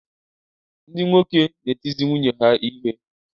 Ndị nwoke na-etizi nwunye ha ihe.